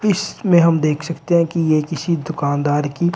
इसमें हम देख सकते हैं कि यह किसी दुकानदार की--